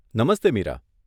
Namaste, Meera.